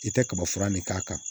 I tɛ kaba fura ne k'a kan